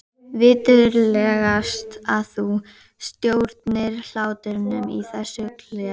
Viturlegast að þú stjórnir hlátrinum í þessum klefa.